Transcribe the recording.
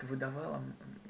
ты выдавала